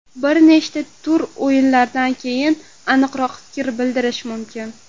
Bir nechta tur o‘yinlaridan keyin aniqroq fikr bildirish mumkin.